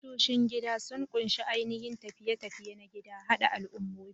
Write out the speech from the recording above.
Tashoshin gida sun ƙunshi ainihin tafiye-tafiye na gida, haɗa al'ummomi.